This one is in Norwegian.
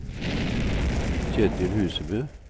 Ketil Husebø